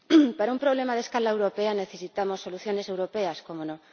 Para un problema de escala europea necesitamos soluciones europeas, cómo no.